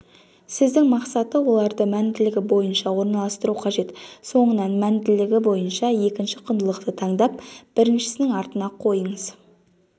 сіздің мақсаты оларды мәнділігі бойынша орналастыру қажет соңынан міндңлңгң бойынша екінші құндылықты таңдап біріншісінің артына қойыңыз